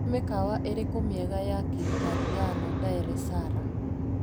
Nĩ mĩkawa ĩrĩkũ mĩega ya kĩitaliano Ndaeresara?